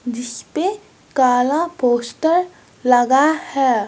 जिसपे काला पोस्टर लगा है।